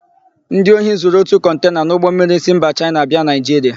Ndị ohi zuru ótù kọntena n'ụgbọmmiri si mba Chaịna abịa Naịjiria.